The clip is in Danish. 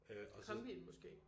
Kombien?